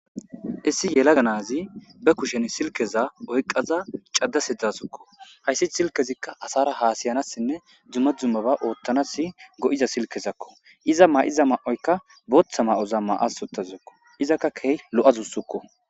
issi yela ganazi be kushen silkeza oyqaza caddase dasukko hayssi silkezikka asara haasayanassinne dzumma dzummaba oottanasi go7iza silkezakko iza ma7iza ma7oykka booththa ma7oza ma7asottazakko izakka key lo7azussukko